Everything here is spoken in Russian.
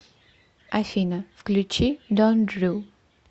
афина включи дон дрю